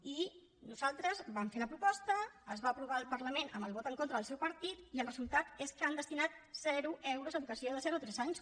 i nosaltres en vam fer la proposta es va aprovar al parlament amb el vot en contra del seu partit i el resultat és que han destinat zero euros a educació de zero de tres anys